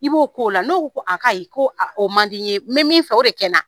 I b'o ko o la n'o ko a kayi ko a o mandi ye mɛ min fɛ o de kɛ na